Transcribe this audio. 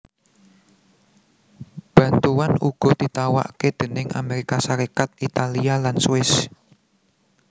Bantuan uga ditawakké déning Amérika Sarékat Italia lan Swiss